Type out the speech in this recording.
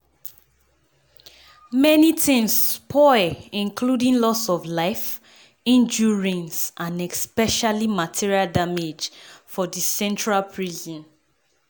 “many tins spoil including loss of life injuries and especially material damage for di central prison.